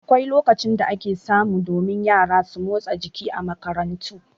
Akwai lokacin da ake warewa, don min yara su motsa jiki a makarantu.